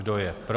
Kdo je pro?